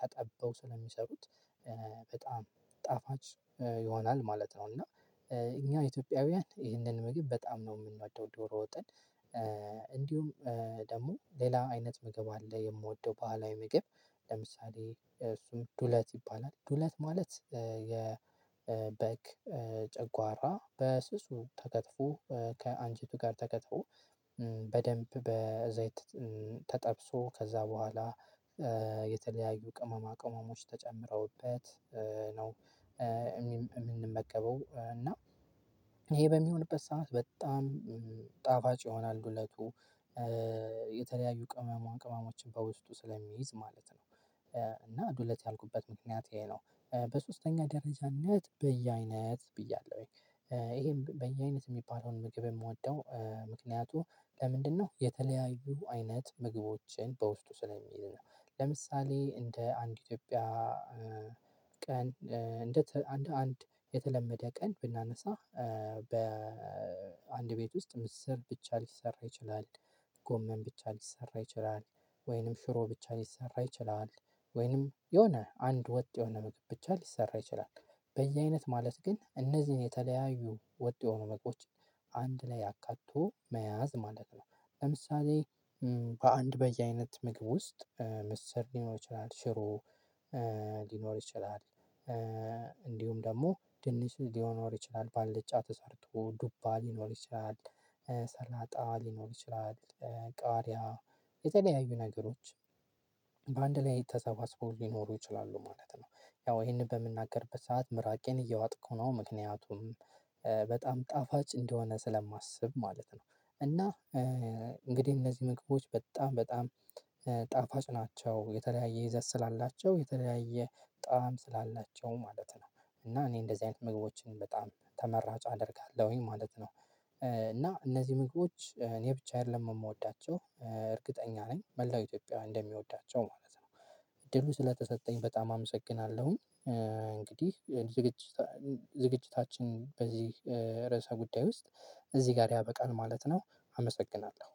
ተጠበው ስለሚሰሩት። በጣም ጣፋጭ ይሆናል ማለት ነው። እና እኛ ኢትዮጵያውያን ይህንን ምግብ በጣም ነው የምንወደው ዶሮ ወጥን። እንዲሁም ደግሞ ሌላ አይነት ምግብ አለ የምወደው ባህላዊ ምግብ ለምሳሌ እሱም ዱለት ይባላል። ዱለት ማለት የበግ ጨጓራ በስሱ ተከትፎ ከአንጄቱ ጋር ተከትፎ በደንብ በዘይት ተጠብሶ ከዛ በኋላ የተለያዩ ቅመማ ቅመሞች ተጨምረውበት ነው። የምንመገበው እና ይሄ በሚሆንበት ሰዓት በጣም ጣፋጭ ይሆናል ዱለቱ። የተለያዩ ቅመማ ቅመሞችን በውስጡ ስለሚይዝ ማለት ነው። እና ዱለት ያልኩበት ምክንያት ይሄ ነው። በሶስተኛ ደረጃነት በየአይነት ብያለሁ። ይሄም በየአይነት የሚባለውን ምግብ የምወደው ምክንያቱ ለምንድነው? የተለያዩ አይነት ምግቦችን በውስጡ ስለሚዝ ነው። ለምሳሌ እንደ አንድ ኢትዮጵያ ቀን እንዴት አንድ አንድ የተለመደ ቀን ብናነሳ በአንድ ቤት ውስጥ ምስር ብቻ ሊሰራ ይችላል። ጎመን ብቻ ሊሰራ ይችላል። ወይንም ሽሮ ብቻ ሊሰራ ይችላል። ወይንም የሆነ አንድ ወጥ የሆነ ምግብ ብቻ ሊሰራ ይችላል። በየአይነት ማለት ግን እነዚህን የተለያዩ ወጥ የሆኑ ምግቦች አንድ ላይ አካቶ መያዝ ማለት ነው። ለምሳሌ በአንድ በየአይነት ምግብ ውስጥ ምስር ሊኖር ይችላል ሽሮ ሊኖር ይችላል። እንዲሁም ደግሞ ድንች ሊኖር ይችላል ባልጫ ተሰርቶ ዱባ ሊኖር ይችላል። ሰላጣ ሊኖር ይችላል። ቃሪያ የተለያዩ ነገሮች ተሰባስበው ሊኖሩ ይችላሉ ማለት ነው። ያው ይሄንን በምናገርበት ሰዓት ምራቄን እየዋጥኩ ነው ምክንያቱም በጣም ጣፋጭ እንደሆነ ስለማስብ ማለት ነው። እና እንግዲህ እነዚህ ምግቦች በጣም በጣም ጣፋጭ ናቸው። የተለያየ ይዘት ስላላቸው የተለያየ በጣም ስላላቸው ማለት ነው። እና እኔ እንደዚህ አይነት ምግቦችን በጣም ተመራጭ አደርጋለሁኝ ማለት ነው። እነዚህ ምግቦች እኔ ብቻ አይደለም የምወዳቸው። እርግጠኛ ነኝ መላው ኢትዮጵያዊ እንደሚወዳቸው ማለት ነው። እድሉ ስለተሰጠኝ በጣም አመሰግናለሁኝ። እንግዲህ ዝግጅታችን በዚህ ርዕሰ ጉዳይ ውስጥ እዚህ ጋር ያበቃል ማለት ነው። አመሰግናለሁ።